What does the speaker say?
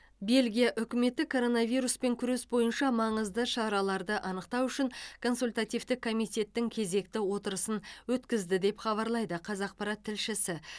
бельгия үкіметі коронавируспен күрес бойынша маңызды шараларды анықтау үшін консультативтік комитеттің кезекті отырысын өткізді деп хабарлайды қазақпарат тілшісі